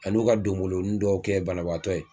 Ani n'o ka donboloni dɔw kɛ banabaatɔ ye